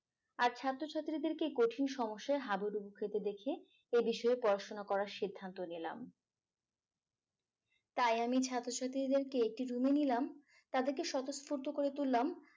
আর ছাত্রছাত্রীদেরকে কঠিন সমস্যায় হাবুডুবু খেতে দেখে এ বিষয়ে পড়াশুনা করার সিদ্ধান্ত নিলাম তাই আমি ছাত্রছাত্রীদেরকে একটি room এ নিলাম তাদেরকে স্বতঃস্ফুর্ত করে তুললাম